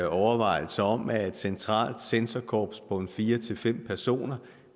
overvejelse om at et centralt censorkorps på fire fem personer